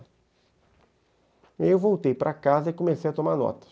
E aí eu voltei para casa e comecei a tomar notas.